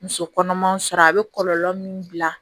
Muso kɔnɔmanw sɔrɔ a bɛ kɔlɔlɔ min bila